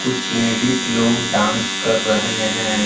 कुछ लेडिज लोग डांस कर रहे हैं।